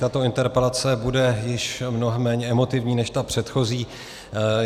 Tato interpelace bude již mnohem méně emotivní než ta předchozí.